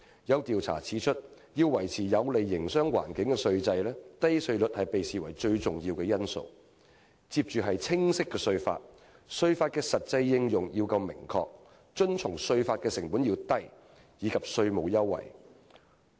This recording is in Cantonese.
有調查指出，要維持有利營商環境的稅制，"低稅率"被視為最重要的因素，其他因素依次為"清晰的稅法"、"稅法的實際應用夠明確"、"遵從稅法的成本低"，以及"稅務優惠"。